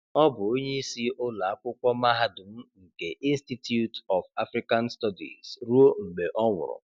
Ọ bụ onye isi ụlọ akwụkwọ mahadum nke Institute of African Studies ruo mgbe ọ nwụrụ.